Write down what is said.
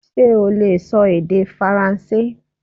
Ṣé ó leè sọ èdè faransé